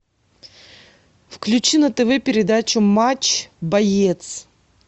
включи на тв передачу матч боец